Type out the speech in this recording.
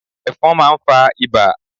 Ẹfọ̀n máà ń fa ibà